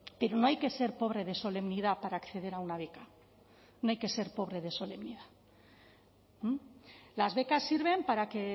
pero no hay que ser pobre de solemnidad para acceder a una beca no hay que ser pobre de solemnidad las becas sirven para que